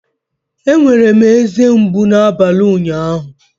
Enwere m eze mgbu n'abalị ụnyaahụ